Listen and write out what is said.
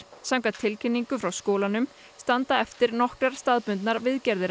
samkvæmt tilkynningu frá skólanum standa eftir nokkrar staðbundnar viðgerðir